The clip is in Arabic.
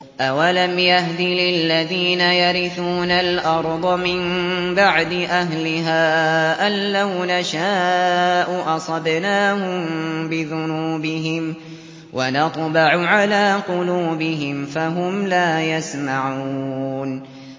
أَوَلَمْ يَهْدِ لِلَّذِينَ يَرِثُونَ الْأَرْضَ مِن بَعْدِ أَهْلِهَا أَن لَّوْ نَشَاءُ أَصَبْنَاهُم بِذُنُوبِهِمْ ۚ وَنَطْبَعُ عَلَىٰ قُلُوبِهِمْ فَهُمْ لَا يَسْمَعُونَ